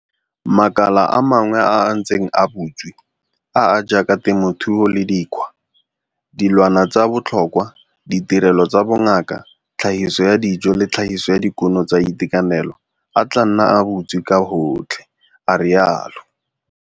Makala a mangwe a a ntseng a butswe, a a jaaka temothuo le dikgwa, dilwana tsa botlhokwa, ditirelo tsa bongaka, tlhagiso ya dijo le tlhagiso ya dikuno tsa itekanelo, a tla nna a butswe ka gotlhe, a rialo.